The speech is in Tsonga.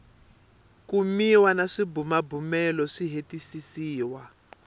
kumiwa na swibumabumelo swi hetisisiwa